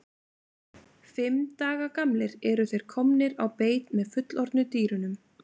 Fimm daga gamlir eru þeir komnir á beit með fullorðnu dýrunum.